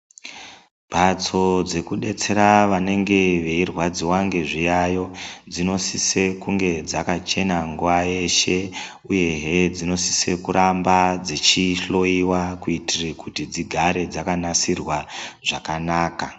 Mbatso dzekudetsera vanenge veirwadziwa ngezviyayo dzinosise kunge dzakachena nguwa yeshe uyehe dzinosise kuramba dzichihloyiwa kuitire kuti dzigare dzakanasirwa zvakanaka.